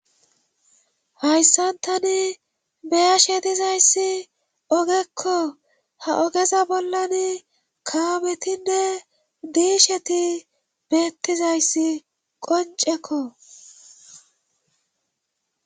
hayssan tani be'ashe dizayssi oogekko ha oogeza bollani kaametinne diisheti beettizayssi qoncekko